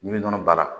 Min bɛ nɔnɔ baara